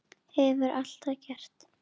Hefur alltaf gert.